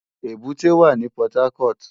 Ébùté wá ni Pòtákòt